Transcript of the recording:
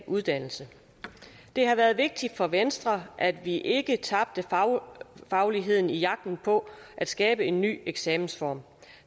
uddannelse det har været vigtigt for venstre at vi ikke tabte fagligheden i jagten på at skabe en ny eksamensform